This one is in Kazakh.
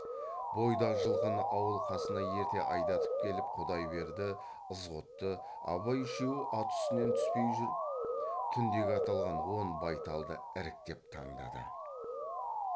бойдақ жылқыны ауыл қасына ерте айдатып келіп құдайберді ызғұтты абай үшеуі ат үстінен түспей жүріп түндегі аталған он байталды іріктеп таңдады